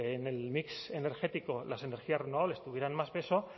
que en el mix energético las energías renovables tuvieran más peso